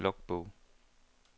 logbog